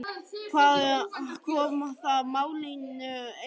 Hvað koma það málinu eiginlega við?